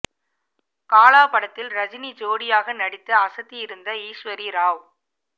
காலா படத்தில் ரஜினி ஜோடியாக நடித்து அசத்தி இருந்த ஈஸ்வரி ராவ்